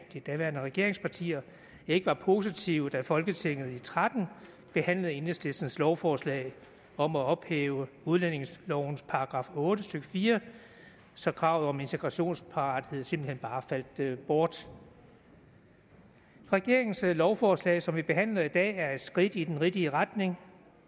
de daværende regeringspartier ikke var positive da folketinget i og tretten behandlede enhedslistens lovforslag om at ophæve udlændingelovens § otte stykke fire så kravet om integrationsparathed simpelt hen bare faldt bort regeringens lovforslag som vi behandler i dag er et skridt i den rigtige retning